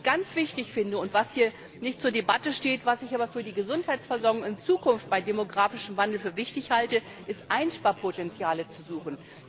Was ich ganz wichtig finde und was hier nicht zur Debatte steht, was ich aber für die Gesundheitsversorgung in Zukunft beim demografischen Wandel für wichtig halte, ist, Einsparpotenziale zu suchen.